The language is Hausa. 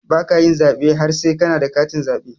Baka yin zaɓe har sai kana da katin zaɓe